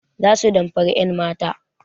Za su damfari 'yanmata.